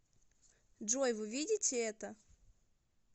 джой вы видите это